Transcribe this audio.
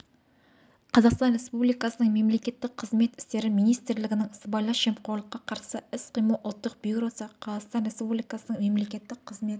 қазақстан республикасының мемлекеттік қызмет істері министрлігінің сыбайлас жемқорлыққа қарсы іс-қимыл ұлттық бюросы қазақстан республикасының мемлекеттік қызмет